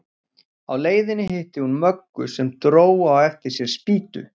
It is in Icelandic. Á leiðinni hitti hún Möggu sem dró á eftir sér spýtu.